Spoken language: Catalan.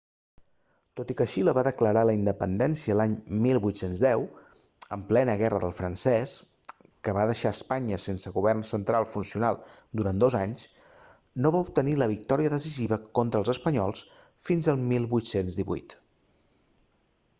tot i que xile va declarar la independència l'any 1810 en plena guerra del francès que va deixar espanya sense govern central funcional durant dos anys no va obtenir la victòria decisiva contra els espanyols fins 1818